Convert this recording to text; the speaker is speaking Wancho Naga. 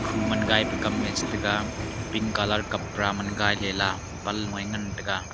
khu man gai pe kam e che taga pink colour kapra man gai ley la panlo eh ngantaga.